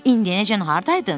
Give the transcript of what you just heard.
İndiyənəcən hardaydın?